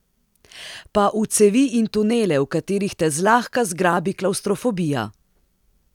Pa v cevi in tunele, v katerih te zlahka zgrabi klavstrofobija?